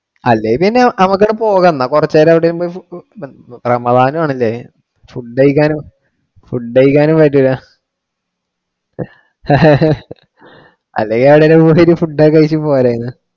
അല്ലെ പിന്നെ നാമക്കവിടെ പോകെണ്ട. കുറച്ചു നേരം അവിടെ ഇരുന്നു സമാധാനം ആണ് ഇല്ലേ food കഴിക്കാനും ഫുഡ് കഴിക്കാനും പറ്റൂല്ല അല്ലെങ്കിൽ അവിടെ ഒന്ന് കുടിയിട്ടു food ഒക്കെ കഴിച്ചു പോരാരുന്നു.